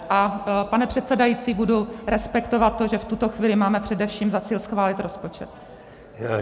A pane předsedající, budu respektovat to, že v tuto chvíli máme především za cíl schválit rozpočet.